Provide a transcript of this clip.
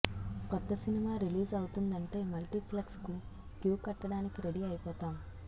కొత్త cinema release అవుతుందంటే multiplex కు క్యూ కట్టడానికి రెడీ అయిపోతాం